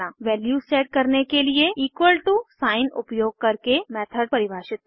values set करने के लिए साइन उपयोग करके मेथड परिभाषित करना